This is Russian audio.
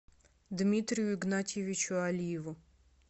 дмитрию игнатьевичу алиеву